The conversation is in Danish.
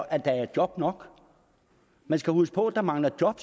at der er job nok man skal huske på at der mangler job